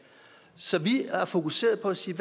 så vi er fokuseret på at sige